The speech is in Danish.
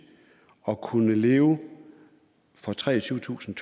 at kunne leve for treogtyvetusinde